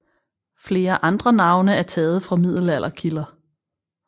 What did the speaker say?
Flere andre navne er taget fra middelalderkilder